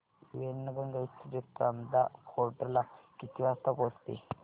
Wainganga express Chanda fort ला किती वाजता पोहचते